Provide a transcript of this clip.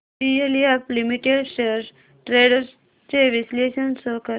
DLF limited shares trends चे विश्लेषण show कर